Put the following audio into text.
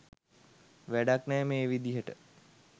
වැඩක් නෑ මේ විදිහට